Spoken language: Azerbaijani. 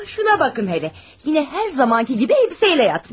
Buna baxın, yenə hər zamankı kimi paltarla yatıb.